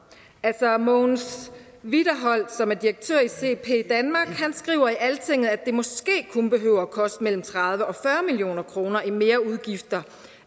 mogens wiederholt som er direktør i cp danmark skriver i altinget at det måske kun behøver at koste mellem tredive og fyrre million kroner i merudgifter